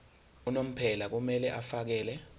unomphela kumele afakele